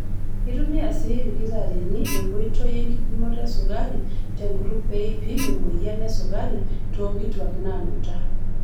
Keitumia sii ilkitarrini enkoitoi enkipimoto esukari tenkutuk pee eipim emoyian esukari toonkituak naanuta.